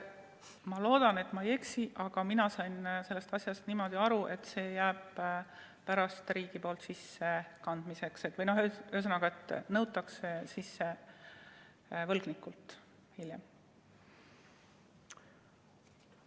Ma loodan, et ma ei eksi, aga mina sain sellest asjast niimoodi aru, et see jääb pärast riigi poolt sissekandmiseks või, ühesõnaga, nõutakse võlgnikult hiljem sisse.